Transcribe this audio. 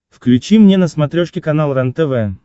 включи мне на смотрешке канал рентв